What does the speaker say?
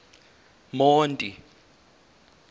monti